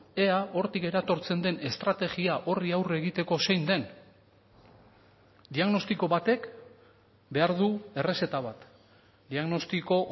ea hortik eratortzen den estrategia horri aurre egiteko zein den diagnostiko batek behar du errezeta bat diagnostiko